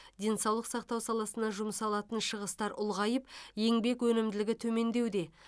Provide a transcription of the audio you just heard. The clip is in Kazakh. денсаулық сақтау саласына жұмсалатын шығыстар ұлғайып еңбек өнімділігі төмендеуде